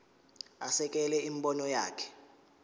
asekele imibono yakhe